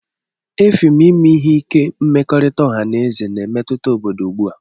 Effium ime ihe ike mmekọrịta ọha na eze na-emetụta obodo ugbu a.